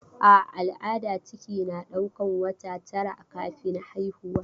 A al'ada ciki na ɗaukan wata tara kafin haihuwa.